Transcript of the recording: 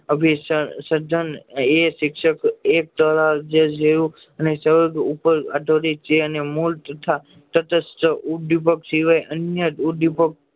અભી શ્રદ્ધા એ શિક્ષકો એજ જેવું અને ચાલ ઉપર છે